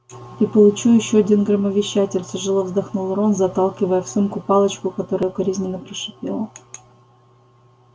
и получу ещё один громовещатель тяжело вздохнул рон заталкивая в сумку палочку которая укоризненно прошипела